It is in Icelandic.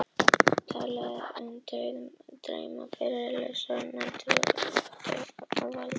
Talaði í uppnámi um dauðadrauma, um friðlausar nætur sem rúmið átti að valda.